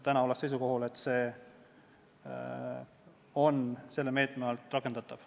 Täna ollakse seisukohal, et see on selle meetme raames rakendatav.